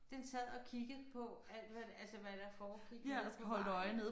Den sad og kiggede på alt hvad der altså hvad der foregik nede på vejen